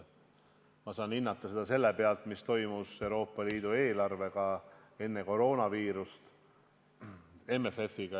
Ma saan hinnata selle põhjal, mis toimus Euroopa Liidu eelarvega, MFF-iga enne koroonaviirust.